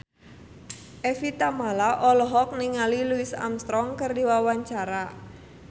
Evie Tamala olohok ningali Louis Armstrong keur diwawancara